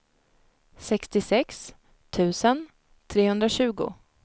sextiosex tusen trehundratjugo